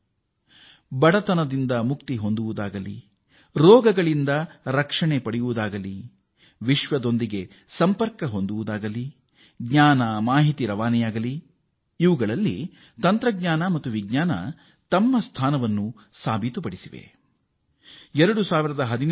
ಅದು ಬಡತನ ನಿರ್ಮೂಲನೆಯೇ ಇರಲಿ ಕಾಯಿಲೆಗಳ ನಿರೋಧವೇ ಇರಲಿ ವಿಶ್ವದೊಂದಿಗೆ ಸಂಪರ್ಕ ಸಾಧಿಸುವುದೇ ಇರಲಿ ಅಥವಾ ವಿಜ್ಞಾನ ತಂತ್ರಜ್ಞಾನ ಮತ್ತು ವಿಜ್ಞಾನದ ಅರಿವಿನ ಪ್ರಚಾರವೇ ಇರಲಿ ಅವುಗಳಲ್ಲಿ ತನ್ನದೇ ಆದ ಸಾಧನೆ ಮಾಡಿವೆ